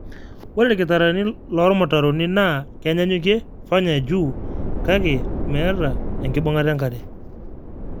ore irkitarani loormutaroni NAA kenyanyukie fanya juu kake meeta ekibungata enkare